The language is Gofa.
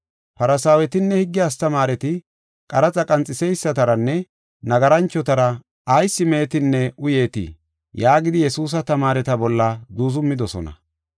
Farsaawetinne higge astamaareti, “Qaraxa qanxeysataranne nagaranchotara ayis meetinne uyeetii?” yaagidi Yesuusa tamaareta bolla zuuzumidosona.